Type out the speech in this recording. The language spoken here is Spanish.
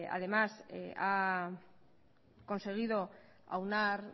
además ha conseguido aunar